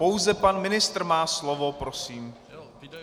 Pouze pan ministr má slovo prosím!